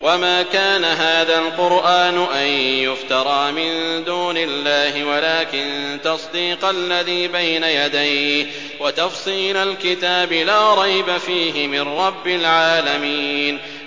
وَمَا كَانَ هَٰذَا الْقُرْآنُ أَن يُفْتَرَىٰ مِن دُونِ اللَّهِ وَلَٰكِن تَصْدِيقَ الَّذِي بَيْنَ يَدَيْهِ وَتَفْصِيلَ الْكِتَابِ لَا رَيْبَ فِيهِ مِن رَّبِّ الْعَالَمِينَ